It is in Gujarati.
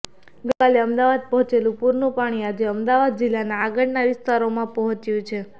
ગઈ કાલે અમદાવાદ પહોંચેલું પૂરનું પાણી આજે અમદાવાદ જિલ્લાના આગળના વિસ્તારોમાં પહોંચ્યું છે